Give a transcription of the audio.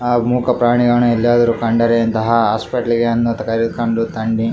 ಆಮೂಕ ಪ್ರಾಣಿಯಾಣೆ ಎಲ್ಲದರೂ ಕಂಡರೆ ಇಂತಹ ಹಾಸ್ಪಿಟ್ಲಿಗೆ ಕರೆದುಕೊಂಡು ತನ್ನಿ.